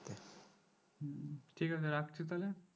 ঠিক আছে রাখছি তাহলে